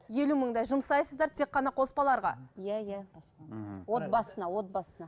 елу мыңдай жұмсайсыздар тек қана қоспаларға иә иә мхм отбасына отбасына